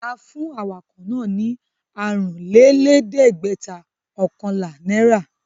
A fún awakọ̀ náà ní àrùnlélẹ́ẹ̀dẹ́gbẹ̀ọ̀kànlá náírà.